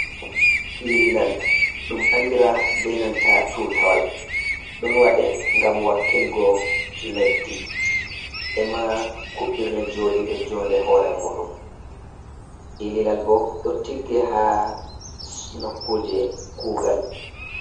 Ililal ɗum anndira be nanta tuutawal, ɗon waɗe ngam wakkilgo leddi, ema kuɓɓirle jooɗiiɗe joonde hoore muuɗum. Ililal bo ɗo tigge, haa nokkuuje kuugal.